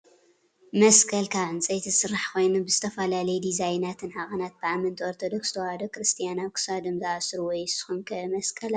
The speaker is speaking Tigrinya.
መስቀል ካብ ዕንፀይቲ ዝስራሕ ኮይኑ ብዝተፈላለዩ ዲዛይናትን ዓቀናትን ብኣመንቲ ኦርቶዶክስ ተዋህዶ ክርስትያን ኣብ ክሳዶም ዝኣስርዎ እዮ። ንስኩም ከ መስቀል ኣለኩም ዶ ?